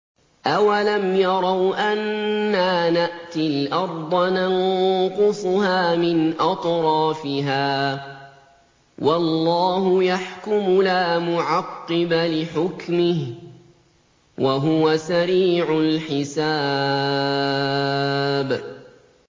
أَوَلَمْ يَرَوْا أَنَّا نَأْتِي الْأَرْضَ نَنقُصُهَا مِنْ أَطْرَافِهَا ۚ وَاللَّهُ يَحْكُمُ لَا مُعَقِّبَ لِحُكْمِهِ ۚ وَهُوَ سَرِيعُ الْحِسَابِ